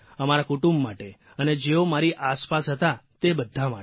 અમારા કુટુંબ માટે અને જેઓ મારી આસપાસ હતા તે બધા માટે